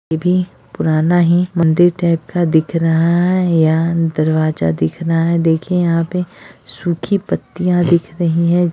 ये भी पुराना मंदिर टाइप का दिख रहा है या दरवाजा दिख रहा है देखिए यहाँ पे सुखी पत्तियाँ दिख रही हैं।